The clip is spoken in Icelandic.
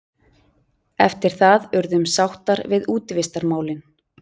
Eftir það urðum sáttar við útivistarmálin.